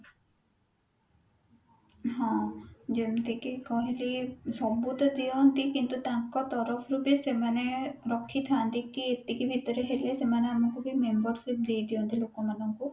ହଁ ଯେମତି କି କହିଲି ସବୁ ତ ଦିଅନ୍ତି କିନ୍ତୁ ତାଙ୍କ ତରଫରୁ ବି ସେମାନେ ରଖିଥାନ୍ତି କି ଏତିକି ଭିତରେ ହେଲେ ସେମାନେ ଆମକୁ ବି membership ଦେଇଦିଅନ୍ତି ଲୋକମାନଙ୍କୁ